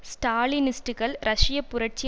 ஸ்டாலினிஸ்ட்டுக்கள் ரஷியப் புரட்சி